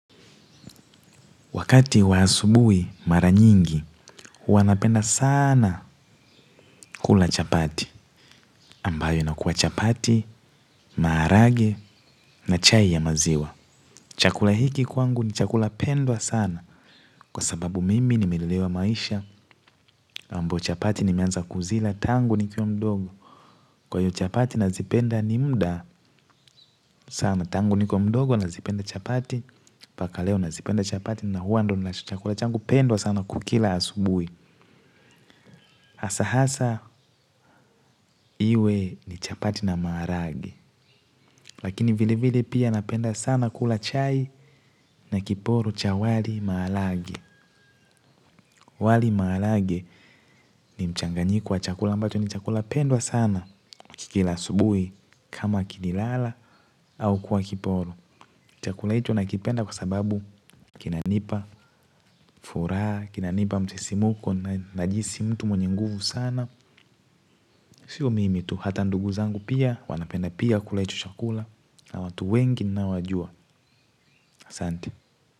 Wakati wa asubuhi mara nyingi, huwa napenda sana kula chapati. Ambayo inakuwa chapati, maharage na chai ya maziwa. Chakula hiki kwangu ni chakula pendwa sana. Kwa sababu mimi nimelelewa maisha ambayo chapati nimeanza kuzila tangu nikiwa mdogo. Kwa iyo chapati nazipenda ni muda sana. Tangu ni kiwa mdogo nazipenda chapati. Paka leo nazipenda chapati na huwa ndo chakula changu pendwa sana kukila asubuhi. Asa hasa iwe ni chapati na maarage. Lakini vile vile pia napenda sana kula chai na kiporo cha wali maalage. Wali maalage ni mchanganyiko chakula mbato ni chakula pendwa sana kikila subui kama kinilala au kwa kiporo. Chakula icho nakipenda kwa sababu kinanipa furaha, kinanipa msisimuko na jisi mtu mwenye nguvu sana sio mimi tu hata ndugu zangu pia wanapenda pia kula hicho chakula na watu wengi ninaowajua asante.